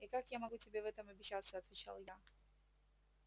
и как я могу тебе в этом обещаться отвечал я